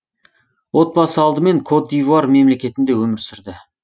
отбасы алдымен кот д ивуар мемлекетінде өмір сүрді